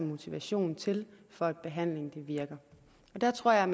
motivation til for at behandlingen virker og der tror jeg